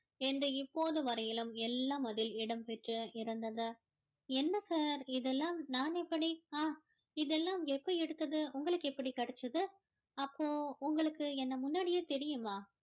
என்று இப்போது வரையுலும் எல்லாம் அதில் இடம்பெற்று இருந்தது என்ன sir இதெல்லாம் நான் எப்படி ஆஹ் இதெல்லாம் எப்போ எடுத்தது உங்களுக்கு எப்படி கிடைச்சுது அப்போ உங்களுக்கு என்ன முன்னாடியே தெரியுமா